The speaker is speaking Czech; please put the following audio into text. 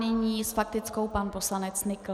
Nyní s faktickou pan poslanec Nykl.